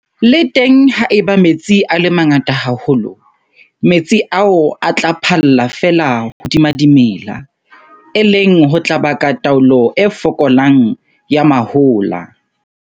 Le teng ha eba metsi a le mangata haholo, metsi ao a tla phalla feela hodima dimela, e leng ho tla baka taolo e fokolang ya mahola.